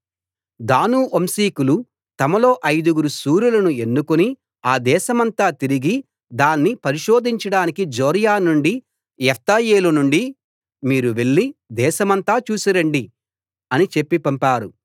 దాను వంశీకులు తమలో ఐదుగురు శూరులను ఎన్నుకుని ఆ దేశమంతా తిరిగి దాన్ని పరిశోధించడానికి జొర్యా నుండీ ఎష్తాయోలు నుండీ మీరు వెళ్లి దేశమంతా చూసి రండి అని చెప్పి పంపారు